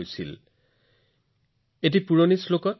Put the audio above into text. আমাৰ ইয়াত এটা অতি পুৰণি শ্লোক আছে